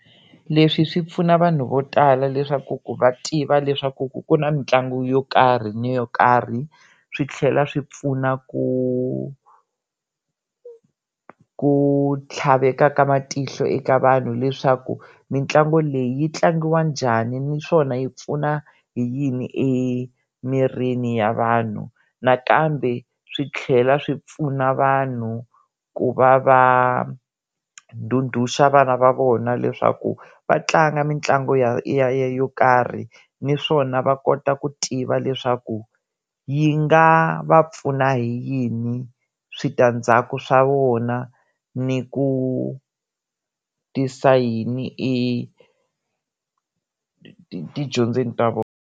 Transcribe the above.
Leswi swi pfuna vanhu vo tala leswaku ku va tiva leswaku ku ku na mitlangu yo karhi ni yo karhi swi tlhela swi pfuna ku ku tlhavela ka matihlo eka vanhu leswaku mitlangu leyi yi tlangiwa njhani naswona yi pfuna yini emirini ya vanhu nakambe swi tlhela swi pfuna vanhu ku va va duduxa vana va vona leswaku va tlanga mitlangu ya yo karhi naswona va kota ku tiva leswaku yi nga va pfuna hi yini switandzhaku swa wona ni ku tisa yini etidyondzweni ta vona.